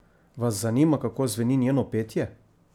Vas zanima kako zveni njeno petje?